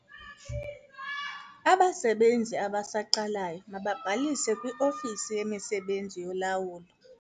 Abasebenzi abasaqalayo mababhalise kwiofisi yemisebenzi yolawulo.